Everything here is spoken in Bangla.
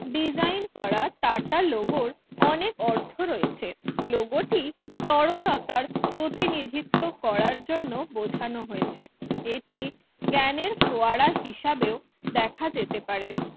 Designe করা টাকা logo অনেক অর্থ রয়েছে লোগোটির তরলতার প্রতিনিধিত্ব করার জন্য বোঝানো হয়েছে একটি জ্ঞানের ফোয়ারা হিসেবেও দেখা যেতে পারে